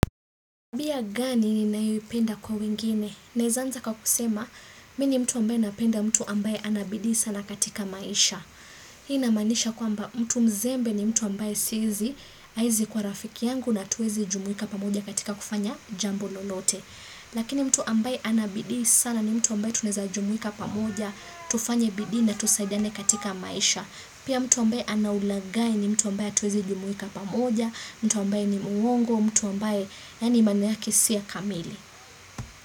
Bia gani ni nayoipenda kwa wengine? Naeza anza kwa kusema, mini mtu ambaye napenda mtu ambaye anabidi sana katika maisha. Hii namanisha kwa mtu mzembe ni mtu ambaye sizi, aizi kwa rafiki yangu na tuwezi jumuika pamoja katika kufanya jambo lolote. Lakini mtu ambaye anabidi sana ni mtu ambaye tuneza jumuika pamoja, tufanya bidii na tusaidane katika maisha. Pia mtu ambaye anaulagai ni mtu ambaye tuwezi jumuika pamoja, mtu ambaye ni muongo, mtu ambaye ni mana yake siya kamili.